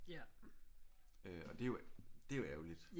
Og det er jo det er jo ærgerligt